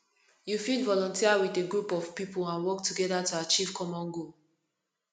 you fit volunteer with a group of people and work together to achieve common goal